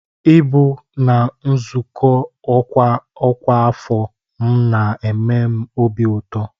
Ịbụ na nzukọ ọkwa ọkwa afọ m na-eme m obi ụtọ